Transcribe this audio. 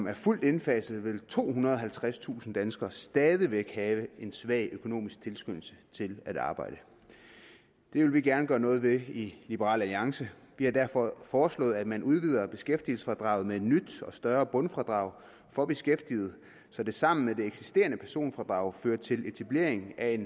er fuldt indfaset vil tohundrede og halvtredstusind danskere stadig væk have en svag økonomisk tilskyndelse til at arbejde det vil vi gerne gøre noget ved i liberal alliance vi har derfor foreslået at man udvider beskæftigelsesfradraget med et nyt og større bundfradrag for beskæftigede så det sammen med det eksisterende personfradrag fører til etablering af